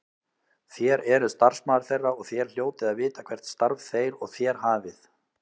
Þér eruð starfsmaður þeirra og þér hljótið að vita hvert starf þeir og þér hafið.